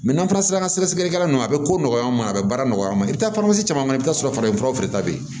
n'an taara sɛgɛsɛgɛlikɛla nunnu a bɛ ko nɔgɔyan ma a bɛ baara nɔgɔya an ma i bɛ taa caman i bɛ taa sɔrɔ farafin furaw de ta bɛ ye